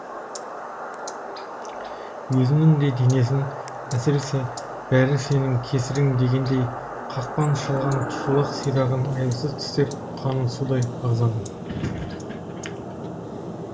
өзінің де денесін әсіресе бәрі сенің кесірің дегендей қақпан шалған шолақ сирағын аяусыз тістеп қанын судай ағызады